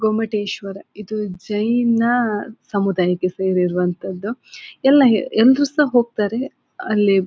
ಗೊಮ್ಮಟೇಶ್ವರ ಇದು ಜೈನ ಸಮುದಾಯಕ್ಕೆ ಸೇರಿರುವಂತದ್ದು ಎಲ್ಲ ಹೇ ಎಲ್ಲರು ಸಹ ಹೋಗ್ತಾರೆ ಅಲ್ಲಿ ಬೇ--